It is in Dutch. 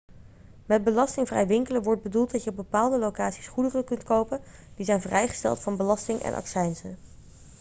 met belastingvrij winkelen wordt bedoeld dat je op bepaalde locaties goederen kunt kopen die zijn vrijgesteld van belasting en accijnzen